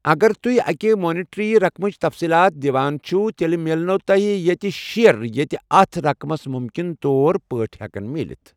اگر تُہۍ اَکہِ مانیٹری رَقمٕچ تَفصِیٖلات دِوان چھِو، تیٚلہِ مِلنَو تۄہہِ یٖتیٚہ شیئر یٖتیٚہ اَتھ رقمَس مُمکِن طور پٲٹھۍ ہٮ۪کَن مِلِتھ۔